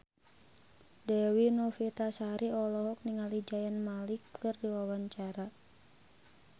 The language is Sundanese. Dewi Novitasari olohok ningali Zayn Malik keur diwawancara